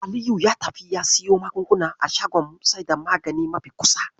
Aliyu ya tafi ya siyo magunguna a shagon saida magani mafi kusa.